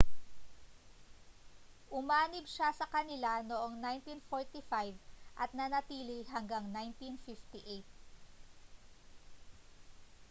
umanib siya sa kanila noong 1945 at nanatili hanggang 1958